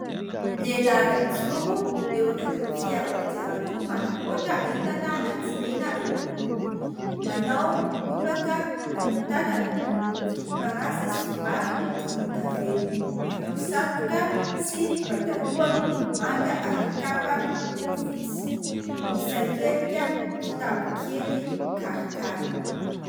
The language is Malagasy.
lehilahy iray mijoro eo akaikin'ny fiara kodiaran-droa manamboatra entana na tsilena eo amboniny; manao lobaka lava tanana miloko volom-parasy somary volon-davenina, manao satroka sy pataloha miloko manga ary kapa miloko fotsy, misaikelika kitapo kely karikary